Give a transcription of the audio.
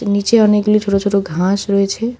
নীচে অনেকগুলি ছোট ছোট ঘাস রয়েছে।